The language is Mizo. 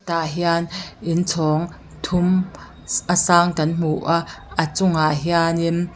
tah hian inchhawng thum ss a sang kan hmu a a chungah hianin--